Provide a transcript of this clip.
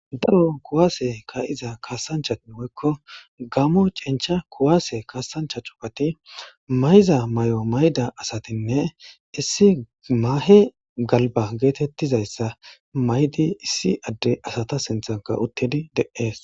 daro kuwaase ka'iza kaasanchatin woykko gamo cincha kuwaase kasancha cugati mayiza mayo mayda asatinne issi maahe galba geetettizayssa maydi issi adde asata sinthanka uttidi de'ees